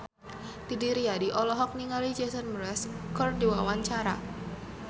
Didi Riyadi olohok ningali Jason Mraz keur diwawancara